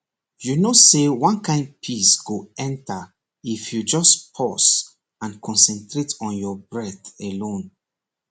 you know say one kind peace go enter if you just pause and concentrate on your breath alone